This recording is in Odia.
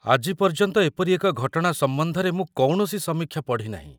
ଆଜି ପର୍ଯ୍ୟନ୍ତ ଏପରି ଏକ ଘଟଣା ସମ୍ବନ୍ଧରେ ମୁଁ କୌଣସି ସମୀକ୍ଷା ପଢ଼ିନାହିଁ।